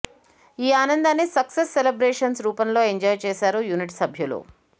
ఈ ఆనందాన్ని success celebrations రూపంలో ఎంజాయ్ చేశారు యూనిట్ సభ్యులు